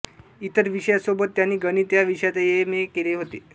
इतर विषयांसोबत त्यांनी गणित या विषयातही एम ए केले होते